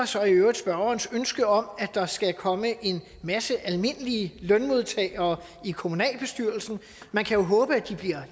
så i øvrigt spørgerens ønske om at der skal komme en masse almindelige lønmodtagere i kommunalbestyrelsen man kan håbe at de bliver